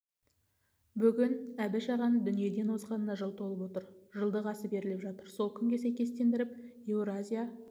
бүгін әбіш ағаның дүниеден озғанына жыл толып отыр жылдық асы беріліп жатыр сол күнге сәйкестендіріп еуразия